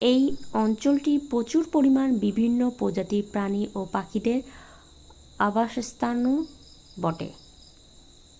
এই অঞ্চলটি প্রচুর পরিমাণে বিভিন্ন প্রজাতির প্রাণী ও পাখিদের আবাসস্থলও বটে